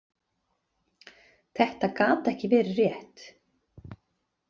Þetta gat ekki verið rétt.